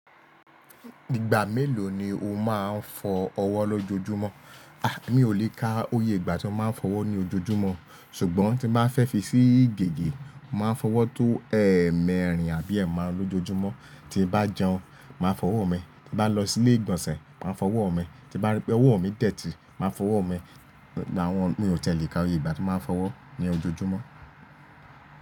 Ìgbà mélòó ni o máa ń fọ ọwọ́ lójoojúmọ́? A! Mi ò lè ka oyè ìgbà tí mo máa ń fọwọ́ ní ojoojúmọ́. Ṣùgbọ́n tí bá fẹ́ fi sí ìgege, màá fọwọ́ tó ẹ̀ẹ̀mẹrin àbí ẹ̀ẹ̀marun lójoojúmọ́. Tí bá jẹun, màá fọwọ́ mi, tí bá lọ sí ilé ìgbọ̀nsẹ̀, màá fọwọ́ mi, tí bá rí pé ọwọ́ mi dẹ̀tì, màá fọwọ́ mi. Àwọn, ni ò tẹ lè ka iyè ìgbà tí màá ń fọwọ́ ní ojoojúmọ́.